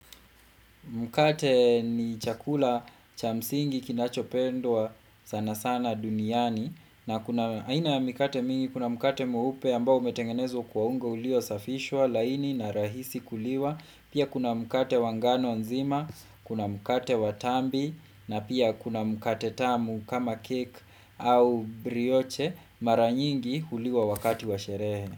Mkate ni chakula cha msingi kinachopendwa sana sana duniani na kuna aina ya mikate mingi kuna mkate mweupe ambao umetengenezwa kwa unga uliosafishwa laini na rahisi kuliwa. Pia kuna mkate wangano nzima, kuna mkate watambi na pia kuna mkate tamu kama keki au brioche mara nyingi huliwa wakati wa sherehe.